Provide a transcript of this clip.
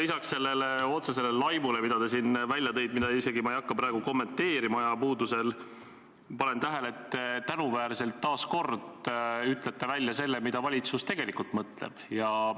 Lisaks sellele otsesele laimule, mida te siin välja tõite, mida ma isegi ei hakka praegu ajapuudusel kommenteerima, panin tähele, et te tänuväärselt taas kord ütlete välja selle, mida valitsus tegelikult mõtleb.